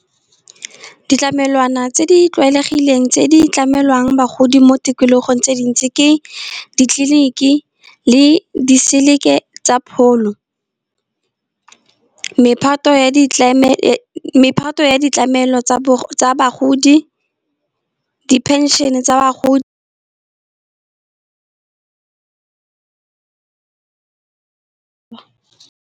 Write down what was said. Ditlamelwana tse di tlwaelegileng tse di tlamelwang bagodi mo tikologong tse dintsi, ke ditleliniki le diseleke tsa pholo. Mephato ya ditlamelo tsa bagodi, di-pension tsa bagodi.